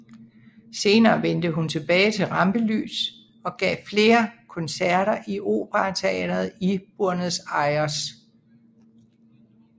Senere vendte hun tilbage til rampelyst og gav hun flere koncerter i Operateatret i Buenos Aires